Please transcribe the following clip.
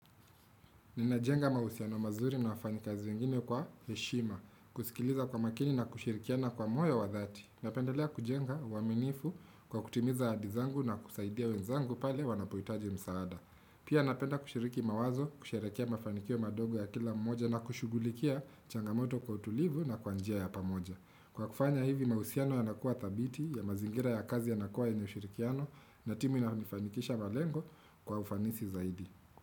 Ninajenga mahusiano mazuri na wafanyikazi wengine kwa heshima, kusikiliza kwa makini na kushirikiana kwa moyo wa dhati. Napendelea kujenga uaminifu kwa kutimiza ahadi zangu na kusaidia wenzangu pale wanapohitaji msaada. Pia napenda kushiriki mawazo, kusherehekea mafanikio madogo ya kila mmoja na kushugulikia changamoto kwa utulivu na kwa njia ya pamoja. Kwa kufanya hivi mahusiano yanakuwa thabiti ya mazingira ya kazi yanakua yenye ushirikiano na timu inafanikisha malengo kwa ufanisi zaidi.